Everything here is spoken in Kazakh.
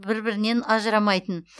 бір бірінен ажырамайтын